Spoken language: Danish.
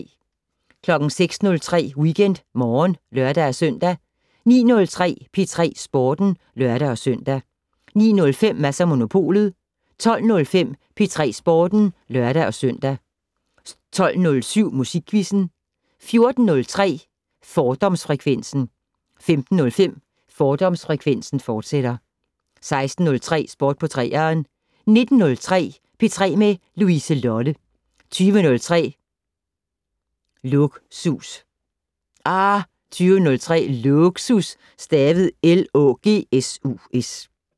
06:03: WeekendMorgen (lør-søn) 09:03: P3 Sporten (lør-søn) 09:05: Mads & Monopolet 12:05: P3 Sporten (lør-søn) 12:07: Musikquizzen 14:03: Fordomsfrekvensen 15:05: Fordomsfrekvensen, fortsat 16:03: Sport på 3'eren 19:03: P3 med Louise Lolle 20:03: Lågsus